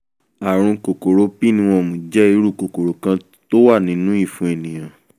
ààrùn kòkòrò pinworm jẹ́ irú kòkòrò kan tó wà nínú ìfun ènìyàn